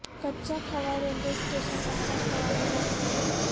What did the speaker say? کچا Khuh railway station Kacha Khuh میں واقع ہے